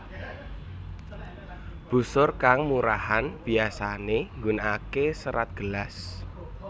Busur kang murahan biyasane nggunakake serat gelas